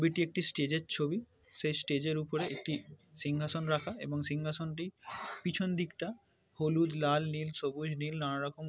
এটি একটি স্টেজ এর ছবি সেই স্টেজ এর উপরে একটি সিংহাসন রাখা এবং সিংহাসন টি পিছন দিকটা হলুদ লাল নীল সবুজ নীল নানারকম--